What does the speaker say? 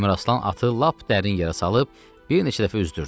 Əmiraslan atı lap dərin yerə salıb bir neçə dəfə üzdürdü.